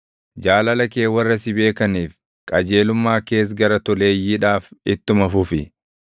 Jaalala kee warra si beekaniif, qajeelummaa kees gara toleeyyiidhaaf ittuma fufi.